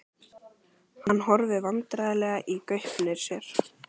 Hann horfir vandræðalega í gaupnir sér.